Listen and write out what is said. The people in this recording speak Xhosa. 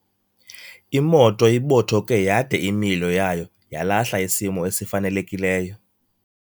Imoto ibothoke yade imilo yayo yalahla isimo esifanelekileyo.